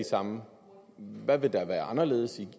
som